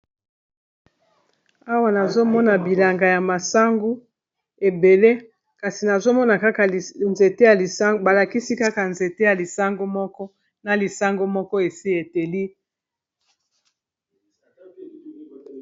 Awa nazomona bilanga ya masangu ebele kasi nazomona kaka nzete ya lisango balakisi kaka nzete ya lisango moko na lisango moko esi eteli.